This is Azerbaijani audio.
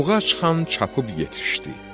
Buğac xan çapıb yetişdi.